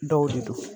Dɔw de don